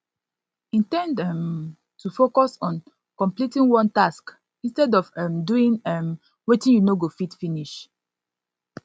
indend um to focus on completing one task instead of um doing um wetin you no go fit finish